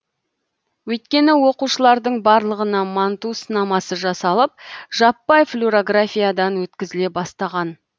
өйткені оқушылардың барлығына манту сынамасы жасалып жаппай флюрографиядан өткізіле бастаған